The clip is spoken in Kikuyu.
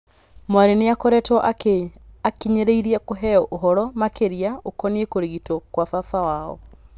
Mwarĩ nĩakoretwo akĩnyĩrĩirie kũheo ũhoro makĩria ukoniĩ kũrigitwo gwa baba wao.